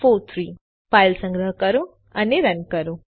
file સંગ્રહ કરો અને રન કરો